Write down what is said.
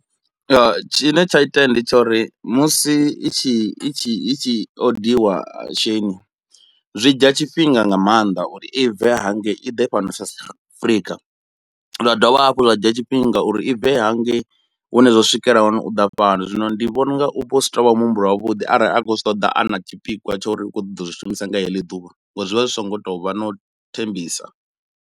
Tshine tsha itea ndi tsha uri musi i tshi i tshi i tshi odiwa Sheini zwi dzhia tshifhinga nga mannḓa uri i bve hangei i ḓe fhano South Africa, zwa dovha hafhu zwa dzhia tshifhinga uri i bve hangei hune zwa swikela hone u ḓa fhano. Zwino ndi vhona unga u vha u si tuvha muhumbulo wa vhuḓi arali a khou zwi ṱoḓa a na tshipikwa tsho uri u kho ṱoḓa u zwi shumisa nga heḽi ḓuvha, ngori zwi vha zwi so ngo tovha no u thembisa.